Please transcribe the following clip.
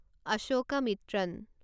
Ashokamitran